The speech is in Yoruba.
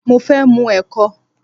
Mo fẹ́ mù ẹ̀kọ